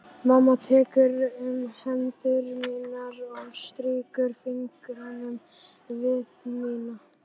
Mamma tekur um hendur mínar og strýkur fingrunum við mína.